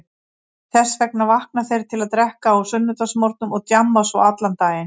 Þess vegna vakna þeir til að drekka á sunnudagsmorgnum og djamma svo allan daginn.